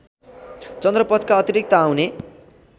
चन्द्रपथका अतिरिक्त आउने